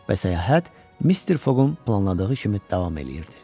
Və səyahət Mister Foqun planladığı kimi davam eləyirdi.